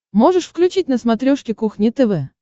можешь включить на смотрешке кухня тв